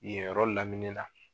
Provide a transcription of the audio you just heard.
Yen yɔrɔ lamini la.